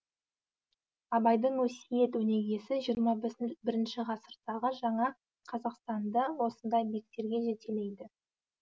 абайдың өсиет өнегесі жиырма бірінші ғасырдағы жаңа қазақстанды осындай биіктерге жетелейді